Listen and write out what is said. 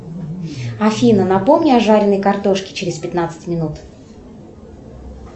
афина напомни о жареной картошке через пятнадцать минут